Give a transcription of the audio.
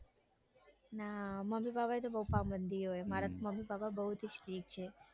ના મમ્મી પ્પાની બઉ પાબંધી હોય મારા મમ્મી પપા બઉ જ strick છે.